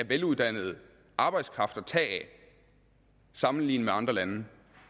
veluddannet arbejdskraft at tage af sammenlignet med andre lande